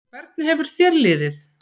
Hvernig hefur þér liðið?